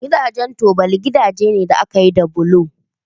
Gidajen tubali gidaje ne da aka yi da bulo